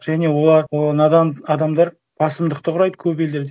және олар надан адамдар басымдықты құрайды көп елдерде